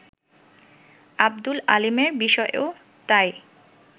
আব্দুল আলীমের বিষয়েও তাই